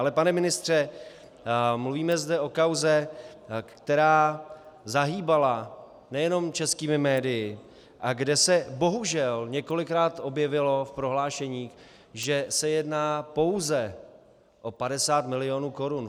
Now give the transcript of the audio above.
Ale pane ministře, mluvíme zde o kauze, která zahýbala nejenom českými médii a kde se bohužel několikrát objevilo v prohlášení, že se jedná pouze o 50 milionů korun.